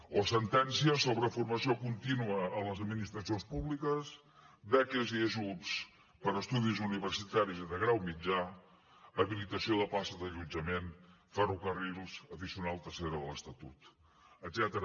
o sentències sobre formació contínua a les administracions públiques beques i ajuts per a estudis universitaris i de grau mitjà habilitació de places d’allotjament ferrocarrils addicional tercera de l’estatut etcètera